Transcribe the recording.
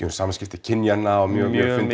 um samskipti kynjanna og mjög mjög